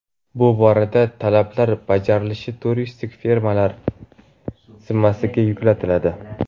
Bu boradagi talablar bajarilishi turistik firmalar zimmasiga yuklatiladi.